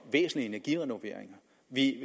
vi